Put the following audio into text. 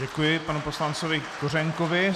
Děkuji panu poslanci Kořenkovi.